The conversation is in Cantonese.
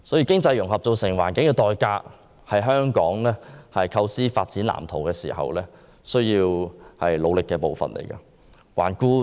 經濟融合造成的環境代價，是香港構思發展藍圖時需要處理的事宜。